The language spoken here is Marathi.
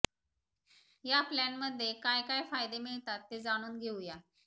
या प्लानमध्ये काय काय फायदे मिळतात ते जाणून घेऊया